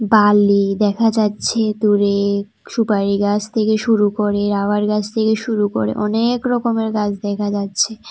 বালি দেখা যাচ্ছে দূরে সুপারি গাছ থেকে শুরু করে রাবার গাছ থেকে শুরু করে অনেক রকমের গাছ দেখা যাচ্ছে।